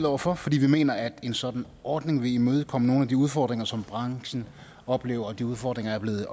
over for fordi vi mener at en sådan ordning vil imødekomme nogle af de udfordringer som branchen oplever og de udfordringer er blevet